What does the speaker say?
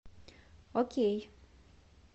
окей